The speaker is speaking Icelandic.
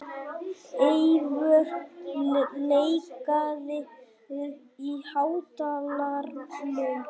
Eyvör, lækkaðu í hátalaranum.